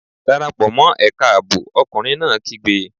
Dára pò mọ́ ẹ̀ka ààbò! Ọkùnrin náà kígbe!